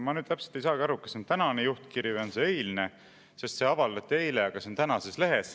Ma täpselt ei saagi aru, kas see on tänane juhtkiri või on see eilne, sest see avaldati eile, aga see on tänases lehes.